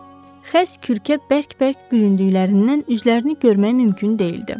Xəst kürklə bərk-bərk büründüklərindən üzlərini görmək mümkün deyildi.